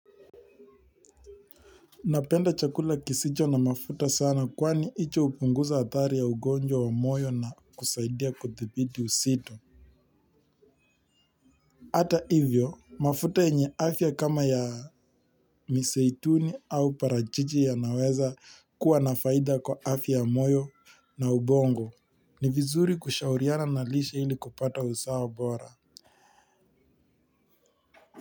Napenda chakula kisicho na mafuta sana kwani hicho hupunguza athari ya ugonjwa wa moyo na kusaidia kuthibiti uzito. Ata hivyo, mafuta yenye afya kama ya miseituni au parachichi yanaweza kuwa na faida kwa afya ya moyo na ubongo. Ni vizuri kushauriana na lishe ili kupata usawa bora.